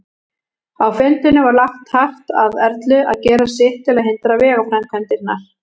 Á fundinum var lagt hart að Erlu að gera sitt til að hindra vegaframkvæmdirnar.